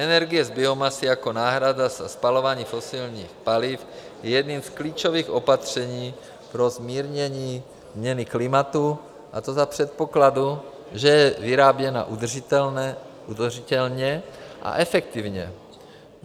Energie z biomasy jako náhrada za spalování fosilních paliv je jedním z klíčových opatření pro zmírnění změny klimatu, a to za předpokladu, že je vyráběna udržitelně a efektivně.